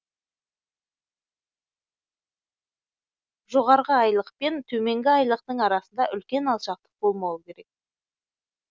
жоғары айлық пен төменгі айлықтың арасында үлкен алшақтық болмауы керек